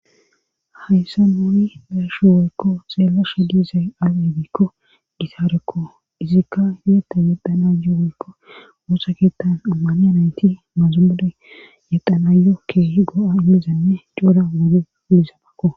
Hayssa nuuni beeshu weykko xeela she giizay abebekko gitaarekko izikka yietta yeqxana yuuwoykko woosa keettan ammani anayti mazumode yexanayo keehi go'a immizanne coura woge ulisabakko.